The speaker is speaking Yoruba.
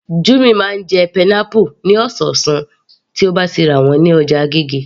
Jummy máa ń jẹ pineapple ní ọ̀sọ̀ọ̀sán tí ó bá ti rà wọ́n ní ọjà agége